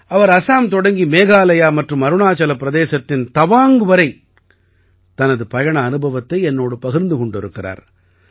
அவர் அஸாம் தொடங்கி மேகாலயா மற்றும் அருணாச்சல பிரதேசத்தின் தவாங்க் வரை தனது பயண அனுபவத்தை என்னோடு பகிர்ந்து கொண்டிருக்கிறார்